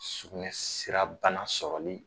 Sukunɛ sira bana sɔrɔli